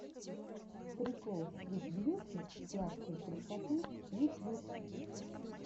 прикол свит бьюти сладкой красоты ютьюб